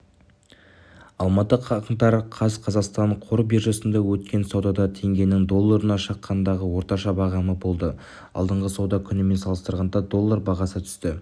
алматы қаңтар қаз қазақстан қор биржасында өткен саудада теңгенің долларына шаққандағы орташа бағамы болды алдыңғы сауда күнімен салыстырғанда доллар бағасы түсті